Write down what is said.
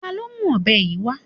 Ta ló mú ọ̀bẹ yìí wá?